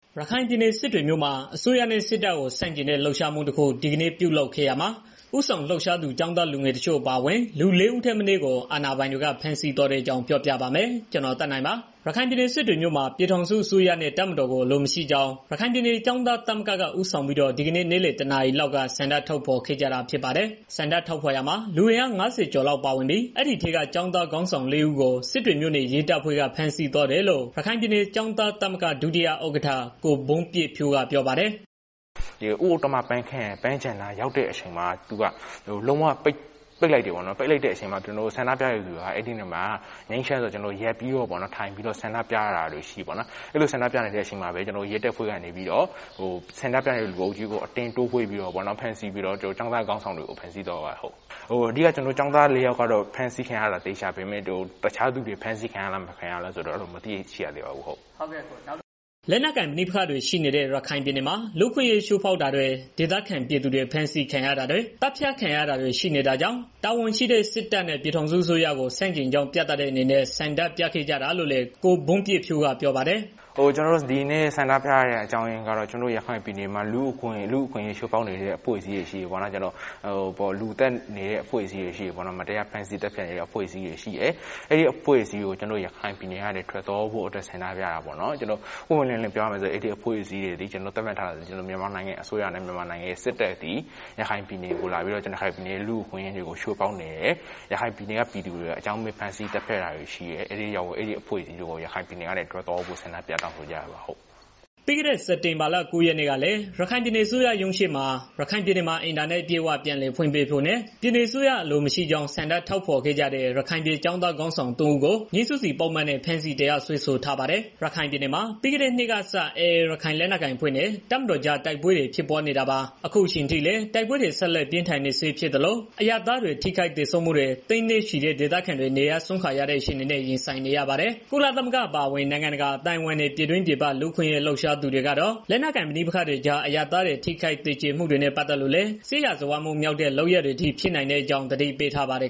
ရခိုင်ပြည်နယ် စစ်တွေမြို့မှာ အစိုးရနဲ့ စစ်တပ်ကို ဆန့်ကျင်ဆန္ဒတဲ့ လှုပ်ရှားမှုတခု ဒီကနေ့ ပြုလုပ်ခဲ့ရာမှာ ဦးဆောင်လှုပ်ရှားသူ ကျောင်းသားလူငယ်တချို့ အပါအဝင် လူ ၄ ဦးထက်မနည်းကို အာဏာပိုင်တွေ ဖမ်းဆီးသွားတဲ့အကြောင်း ပြောပြပါမယ်။ ဗွီအိုအေမြန်မာပိုင်း သတင်းထောက် ကိုသက်နိုင်က သတင်းပေးပို့ထားပါတယ်။ ရခိုင်ပြည်နယ် စစ်တွေမြို့မှာ ပြည်ထောင်စု အစိုးရနဲ့ တပ်မတော်ကို အလိုမရှိကြောင်း ရခိုင်ပြည်နယ်ကျောင်းသားသမဂ္ဂက ဦးဆောင်ပြီးတော့ ဒီကနေ့ နေ့လယ် တစ်နာရီလောက်က ဆန္ဒထုတ်ဖော်ခဲ့ကြပါတယ်။ ဆန္ဒထုတ်ဖော်ရာမှာ လူအင်းအား ၅၀ ကျော်လောက်ပါဝင်ပြီး အဲဒီထဲက ကျောင်းသား ခေါင်းဆောင်လေးဦးကို စစ်တွေမြို့နယ် ရဲတပ်ဖွဲ့က ဖမ်းဆီးသွားတယ်လို့ ရခိုင်ပြည် ကျောင်းသား သမဂ္ဂ ဒုတိယဥက္ကဋ္ဌ ကို ဘုန်းပြည့်ဖြိုးဟိန်းက ပြောပါတယ်။ “ဦးဥတ္တမ ပန်းခြံနားရောက်တဲ့ အချိန်မှာ ရဲတွေက ပိတ်လိုက်တယ်။ ပိတ်လိုက်တဲ့ အချိန်မှာ ကျနော်တို့က ဆန္ဒပြတဲ့ သူတွေက အဲဒီနေရာမှာ ကျနော်တို့က ငြိမ်းချမ်းစွာ ထိုင်ပြီးတော့ ဆန္ဒပြတာတွေရှိတယ်။ အဲဒီအချိန်မှာပဲ ရဲတပ်ဖွဲ့ကနေ ပြီးတော့ ဆန္ဒပြနေတဲ့ လူအုပ်ကြီးကို အတင်းတိုးဝှေ့ပြီးတော့ပေါ့နော် ကျောင်းသား ခေါင်းဆောင်တွေကို ဖမ်းဆီးသွားပါတယ်ဟုတ်။ အဓိကတော့ ကျောင်းသားလေးဦး ဖမ်းဆီးခံရတာ သေချာပေမဲ့ တစ်ခြားသူတွေ ဖမ်းဆီးခံရလား မခံရဘူးလားဆိုတာကတော့ မသိရသေးပါဘူးဟုတ်။” လက်နက်ကိုင်ပဋိပက္ခတွေ ရှိနေတဲ့ ရခိုင်ပြည်နယ်မှာ လူ့အခွင့်အရေး ချိုးဖောက်တာတွေ ဒေသခံပြည်သူတွေ ဖမ်းဆီးခံရတာတွေ သတ်ဖြတ်ခံရတာတွေ ရှိနေတာကြောင့် တာဝန်ရှိတဲ့ စစ်တပ်နဲ့ ပြည်ထောင်စုအစိုးကို ဆန့်ကျင်ကြောင်း ပြသတဲ့အနေနဲ့ ဆန္ဒပြခဲ့ကြတာလို့လည်း ကိုဘုန်းပြည့်ဖြိုးက ပြောပါတယ်။ “ကျနော်တို့ ဒီနေ့ ဆန္ဒထုတ်ဖော်ရတာကတော့ ကျနော်တို့ ရခိုင်ပြည်နယ်မှာ လူ့အခွင့်အရေး ချိုးဖောက်နေတဲ့ အဖွဲ့အစည်းတွေ ရှိတယ်ပေါ့နော်။ လူသတ်နေတဲ့ အဖွဲ့အစည်းတွေ ရှိတယ်။ မတရားသတ်ဖြတ်နေတာတွေ ရှိတယ်။ အဲဒါကို ကျနော်တို့ ရခိုင်ပြည်နယ်ကနေ ထွက်သွားဖို့ အတွက် ဆန္ဒပြတာပေါ့နော်။ ပွင့်ပွင့်လင့်လင့် ပြောရရင် ကျနော်တို့ သတ်မှတ်ထားတာက အဲဒီအဖွဲ့တွေဟာ မြန်မာနိုင်ငံအစိုးရနဲ့ မြန်မာနိုင်ငံ စစ်တပ်တို့ဖြစ်တယ်။ အဲဒီအဖွဲ့အစည်းတွေက ရခိုင်ပြည်ကို လာပြီးတော့ ရခိုင်ပြည်သူတွေကို အကြောင်းမဲ့ သတ်ဖြတ်နေတယ်။ ဖမ်းဆီးနေတယ်။ အဲဒါကြောင့် အဲဒီအဖွဲ့အစည်းတွေကို ရခိုင်ပြည်နယ်ကနေ ထွက်သွားဖို့ ဆန္ဒပြတောင်းဆိုရတာဖြစ်ပါတယ်။” ပြီးခဲ့တဲ့ စက်တင်ဘာလ ၉ ရက်နေ့ကလည်း ရခိုင်ပြည်နယ် အစိုးရရုံးရှေ့မှာ ရခိုင်ပြည်နယ်မှာ အင်တာနက် အပြည့်အဝ ပြန်လည်ဖွင့်ပေးဖို့ နဲ့ ပြည်နယ်အစိုးရ အလိုမရှိကြောင်း ဆန္ဒဖော် ထုတ်ခဲ့ကြတဲ့ ရခိုင်ပြည်ကျောင်းသား ခေါင်းဆောင် သုံးဦးကိုငြိမ်းစုစီပုဒ်မနဲ့ ဖမ်းဆီးတရားစွဲ ဆိုထားပါတယ်။ ရခိုင်ပြည်နယ်မှာ ပြီးခဲ့တဲ့နှစ်ကစ AA ရခိုင်လက်နက်ကိုင်အဖွဲ့နဲ့ တပ်မတော်ကြား တိုက်ပွဲတွေ ဖြစ်ပွားနေတာပါ။ အခုအချိန်အထိလည်း တိုက်ပွဲတွေ ဆက်လက်ပြင်းထန်နေဆဲဖြစ်သလို အရပ်သားတွေ ထိခိုက်သေဆုံးမှုတွေ၊ သိန်းနဲ့ချီတဲ့ ဒေသခံတွေ နေရပ်စွန့်ခွာရတဲ့ အခြေအနေနဲ့ ရင်ဆိုင်နေရပါတယ်။ ကုလသမဂ္ဂအပါအဝင် နိုင်ငံတကာအသိုင်းအဝန်းနဲ့ ပြည်တွင်းပြည်ပ လူ့အခွင့်အရေး လှုပ်ရှားသူတွေကတော့ လက်နက်ကိုင် ပဋိပက္ခတွေကြား အရပ်သားတွေ ထိခိုက်သေကြေမှုတွေနဲ့ ပတ်သက်လို့လည်း စစ်ရာဇဝတ်မှုမြောက်တဲ့ လုပ်ရပ်တွေအထိ ဖြစ်နိုင်တဲ့အကြောင်း သတိပေးထားကြပါတယ်